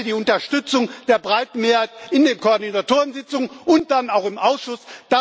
Ich hatte die Unterstützung der breiten Mehrheit in den Koordinatorensitzungen und dann auch im Ausschuss.